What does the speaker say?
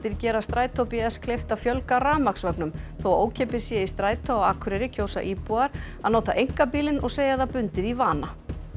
gera Strætó kleift að fjölga þó að ókeypis sé í strætó á Akureyri kjósa íbúar að nota einkabílinn og segja það bundið í vana